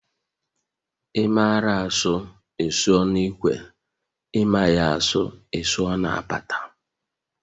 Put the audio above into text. Ị mara asụ, ị sụọ n'ikwe, ị maghị a sụọ ị sụọ na apata